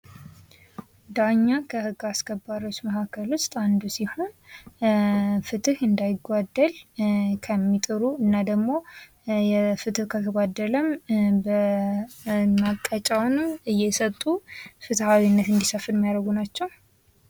ዳኛ ከህግ አስከባሪዎች መካከል ውስጥ አንዱ ሲሆን ፍትህ እንዳይጓደል ከሚጥሩ እና ደግሞ ፍትህ ከተጓደለ መቀጫውን እየሰጡ ፍትሃዊነት እንዲሰፍን የሚያደርጉ ናቸው።